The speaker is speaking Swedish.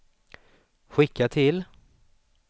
skicka till